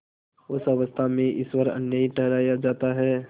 उस अवस्था में ईश्वर अन्यायी ठहराया जाता है